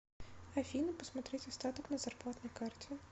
афина посмотреть остаток на зарплатной карте